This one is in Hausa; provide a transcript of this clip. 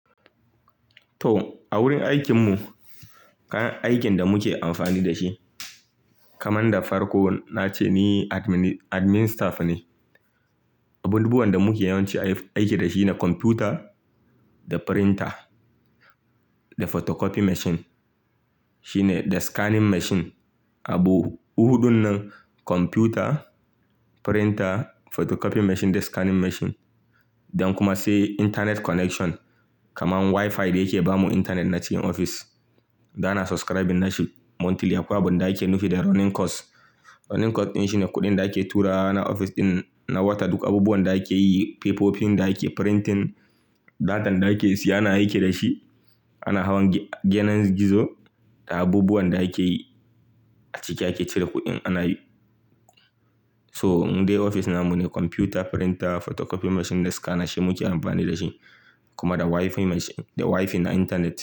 To, a wurin aikin mu kayan aikin da muke amfani da shi, kaman da farko na ce ni admin staff ne. Abubuwan da muke yawanci aiki da shi ne kwamfuta da printer, da photocopy machine, shine da scanning machine. Abu huɗun nan kwamfuta, printer, photocopy machine da scanning machine then kuma sai internet connection kaman Wi-Fi da yake ba mu intanet na cikin ofis. Dana subscribing nashi monthly akwai abunda ake nufi da running cost. Running cost din shine kuɗin da ake turawa na ofis ɗin na wata. Duk abubuwan da ake yi, fefofin da ake printing, datan da ake siya ana aiki dashi. Ana hawan gyanan gizo da abubuwan da ake yi a ciki ake cire kuɗin ana yi. So, indai ofis na mu ne kwamfuta, printer, photocopy machine da scanner shi muke amfani da shi, kuma da Wi-Fi na intanet.